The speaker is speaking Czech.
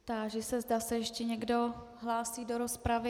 Táži se, zda se ještě někdo hlásí do rozpravy.